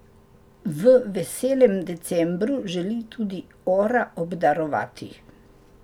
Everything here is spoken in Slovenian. V veselem decembru želi tudi Ora obdarovati.